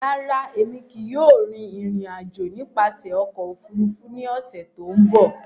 Rárá, Emi kii yóò rin irin-ajo nipasẹ ọkọ ofurufu ni ọsẹ to nbọ.